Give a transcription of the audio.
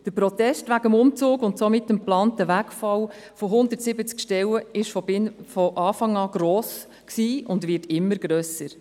Der Protest wegen des Umzugs und des geplanten Wegfalls von 170 Stellen war von Anfang an gross und wird immer grösser.